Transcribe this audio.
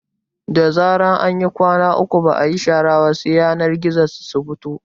Da zarar an yi kwana uku ba ayi shara ba sai yanar gizo su fito